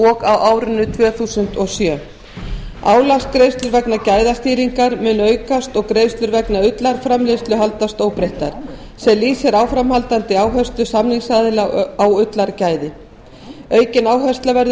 árinu tvö þúsund og sjö álagsgreiðslur vegna gæðastýringar munu aukast og greiðslur vegna ullarframleiðslu haldast óbreyttar sem lýsir áframhaldandi áherslu samningsaðila á ullargæði aukin áhersla verður lögð